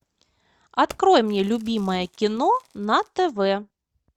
открой мне любимое кино на тв